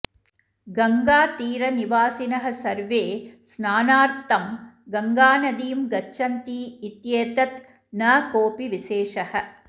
गङ्गातीरनिवासिनः सर्वे स्नानार्थं गङ्गानदीं गच्छन्ति इत्येतत् न कोऽपि विशेषः